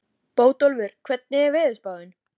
Vann hún kross úr bronsi yfir altarið.